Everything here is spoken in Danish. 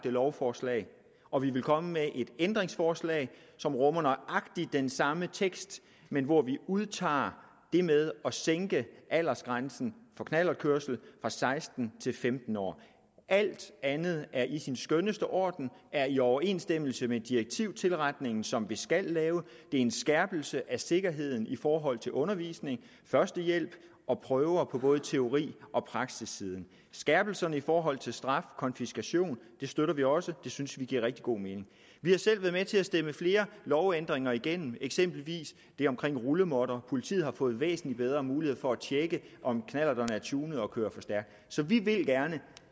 lovforslag og vi vil komme med et ændringsforslag som rummer nøjagtig den samme tekst men hvor vi udtager det med at sænke aldersgrænsen for knallertkørsel fra seksten til femten år alt andet er i sin skønneste orden er i overensstemmelse med direktivtilretningen som vi skal lave det en skærpelse af sikkerheden i forhold til undervisning førstehjælp og prøver på både teori og praksissiden skærpelserne i forhold til straf og konfiskation støtter vi også det synes vi giver rigtig god mening vi har selv været med til at stemme flere lovændringer igennem eksempelvis det om rullemåtter politiet har fået væsentlig bedre mulighed for at tjekke om knallerterne er tunede og kører for stærkt så vi vil gerne